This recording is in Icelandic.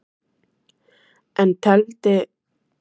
En tefldi hann fram sínu besta liði í kvöld?